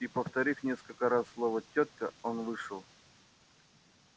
и повторив несколько раз слово тётка он вышел